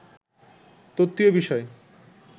তত্ত্বীয় বিষয়